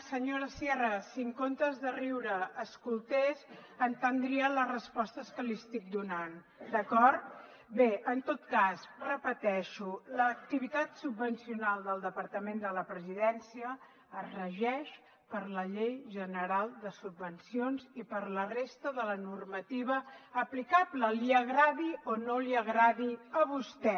senyora sierra si en comptes de riure escoltés entendria les respostes que li estic donant d’acord bé en tot cas ho repeteixo l’activitat subvencional del departament de la presidència es regeix per la llei general de subvencions i per la resta de la normativa aplicable li agradi o no li agradi a vostè